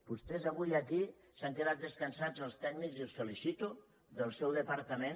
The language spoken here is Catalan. vostès avui aquí s’han quedat descansats els tècnics i els felicito del seu departament